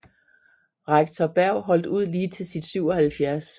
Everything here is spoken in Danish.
Rektor Berg holdt ud lige til sit 77